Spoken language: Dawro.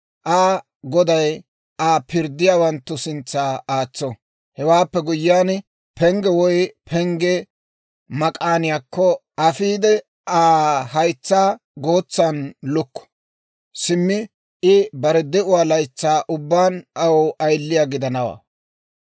Aa goday Aa pirddiyaawanttu sintsa aatso; hewaappe guyyiyaan pengge woy pengge mak'aaniyaakko Aa afiide, Aa haytsaa gootsan lukko. Simmi I bare de'uwaa laytsaa ubbaan aw ayiliyaa gidanawaa.